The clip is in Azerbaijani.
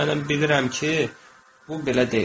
amma mənə bilirəm ki, bu belə deyil.